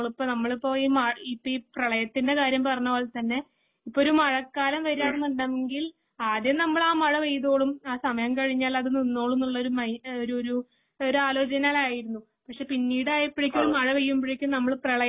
നമ്മളിപ്പോ ഇപ്പോ ഈ പ്രളയത്തിന്റെ കാര്യം പറഞ്ഞ പോലെ തന്നെ ഒരു മഴക്കാലം വരികയാണെന്നുണ്ടെങ്കിൽ ആദ്യം നമ്മൾ എഅ മഴപെയ്തൊളും സമയം കഴിഞ്ഞാൽ അത് നിന്നോളും എന്ന ഒരു ഒരു ആലോചനയിലായിരുന്നു. പക്ഷേ പിന്നീട് ആയപ്പോഴേക്കും മഴ പെയ്യുമ്പോഴേക്കും നമ്മള് പ്രളയത്തിന്